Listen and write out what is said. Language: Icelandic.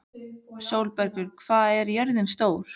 Sólbergur, hvað er jörðin stór?